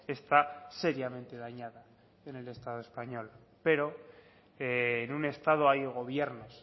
está seriamente dañada en el estado español pero en un estado hay gobiernos